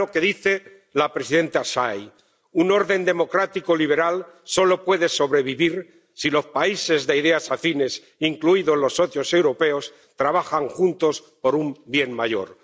Miren lo que dice la presidenta Tsai un orden democrático liberal solo puede sobrevivir si los países de ideas afines, incluidos los socios europeos, trabajan juntos por un bien mayor.